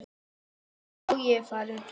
Já, ég er farinn.